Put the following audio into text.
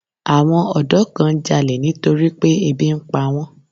Àwọn ọ̀dọ́ kan ń jalè nítorí pé ebi ń pa wọ́n.